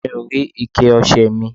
Mi ò rí ike ọṣẹ ẹ̀ mi.